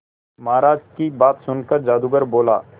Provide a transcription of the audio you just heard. महाराज की बात सुनकर जादूगर बोला